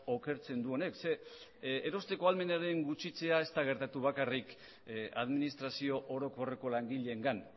okertzen du honek zeren erosteko ahalmenaren gutxitzea ez da gertatu bakarrik administrazio orokorreko langileengan